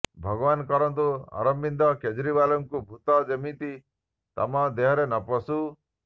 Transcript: ଭଗବାନ କରନ୍ତୁ ଅରବିନ୍ଦ କେଜରୀୱାଲ୍ଙ୍କ ଭୂତ ଯେମିତି ତମ ଦେହରେ ନ ପଶୁ